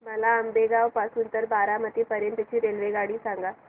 मला आंबेगाव पासून तर बारामती पर्यंत ची रेल्वेगाडी सांगा